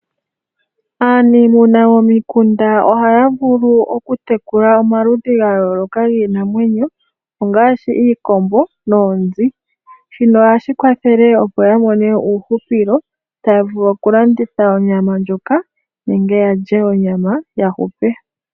Aaniiimuna momi kunda, ohaya vulu oku tekula omaludhi ga yooloka gii namwenyo ongaashi iikombo noonzi. Shino ohashi kwathele opo ya mone uuhupilo, taya vulu oku landitha onyama ndjoka, nenge yadje onyama yahupe.